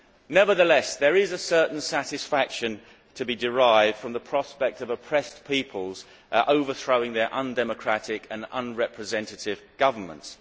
Nevertheless, there is a certain satisfaction to be derived from the prospect of oppressed peoples overthrowing their undemocratic and unrepresentative governments.